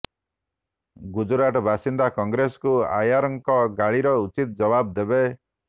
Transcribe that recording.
ଗୁଜରାଟ ବାସିନ୍ଦା କଂଗ୍ରେସକୁ ଆୟରଙ୍କ ଗାଳିର ଉଚିତ୍ ଜବାବ ଦେବେ